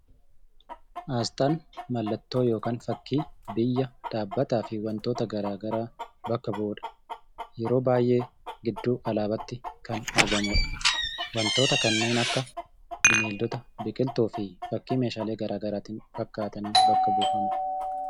Asxaan mallattoo yookiin fakkii biyya, dhaabbataa fi wantoota garaa garaa bakka bu'udha. Yeroo baay'ee gidduu alaabaatti kan argamudha. Wantoota kanneen akka bineeldota, biqiltuu fi fakkii meeshaalee garaa garaatiin fakkaataniin bakka buufama.